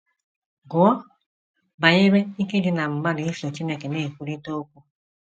Gụọ banyere ike dị ná mmadụ iso Chineke na - ekwurịta okwu.